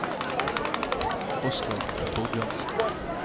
Oskar Thorbjørnsen